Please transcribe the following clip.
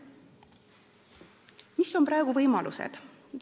Millised võimalused praegu on?